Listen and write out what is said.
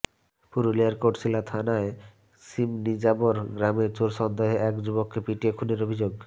পুরুলিয়ার কোটশিলা থানার শিমনিজাবর গ্রামে চোর সন্দেহে এক যুবককে পিটিয়ে খুনের অভিযোগ